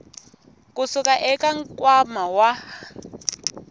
ku suka eka nkwama wa